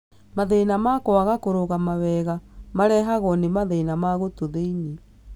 Mathĩna ma kwaga kũrũgama wega marehagwo nĩ mathĩna ma gũtũ thĩ-inĩ.